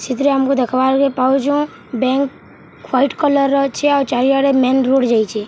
ସେଥିରେ ଆମକୁ ଦେଖବାର କେ ପାଉଛୁଁ ବ୍ୟାଙ୍କ ହ୍ୱାଇଟ କଲର୍‌ ର ଅଛେ ଆଉ ଚାରି ଆଡେ ମେନ୍‌ ରୋଡ଼୍‌ ଯାଇଛେ--